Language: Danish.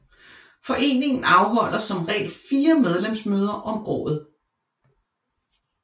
Foreningen afholder som regel fire medlemsmøder om året